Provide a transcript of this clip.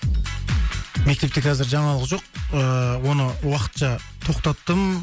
мектепте қазір жаңалық жоқ ыыы оны уақытша тоқтаттым